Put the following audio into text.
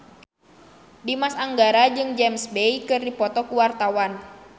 Dimas Anggara jeung James Bay keur dipoto ku wartawan